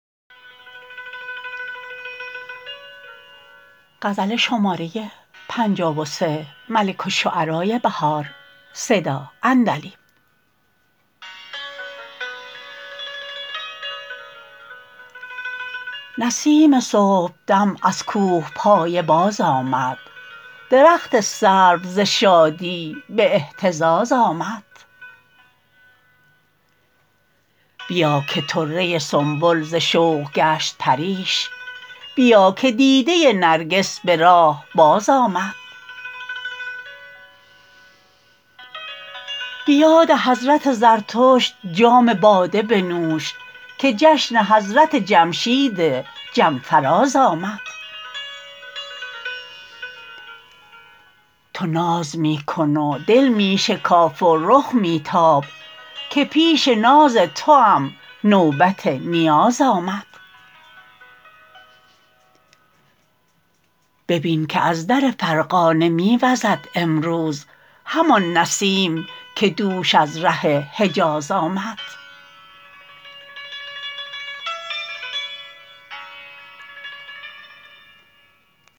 نسیم صبحدم ازکوهپایه باز آمد درخت سرو ز شادی به اهتزاز آمد بیاکه طره سنبل زشوق گشت پریش بیا که دیده نرگس به راه باز آمد به یاد حضرت زردشت جام باده بنومن که جشن حضرت جمشید جم فراز آمد تو ناز می کن و دل می شکاف و رخ می تاب که پیش ناز توام نوبت نیاز آمد ببین که از در فرغانه می وزد امروز همان نسیم که دوش از ره حجاز آمد